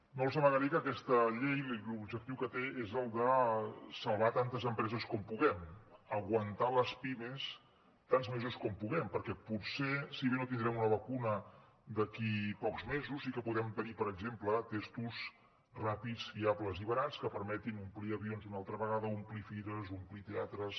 no els amagaré que aquesta llei l’objectiu que té és el de salvar tantes empreses com puguem aguantar les pimes tants mesos com puguem perquè potser si bé no tindrem una vacuna d’aquí a pocs mesos sí que podem tenir per exemple tests ràpids fiables i barats que permetin omplir avions una altra vegada omplir fires omplir teatres